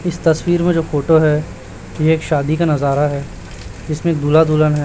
इस तस्वीर में जो फोटो है ये एक शादी का नजारा है जिसमें दूल्हा दुल्हन है।